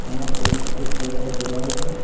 यहां पे एक सफेद कलर का दीवाल है।